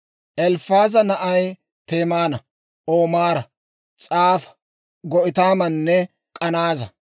Elifaaza naanay Temaana, Omaara, S'afa, Ga'itaamanne K'anaaza.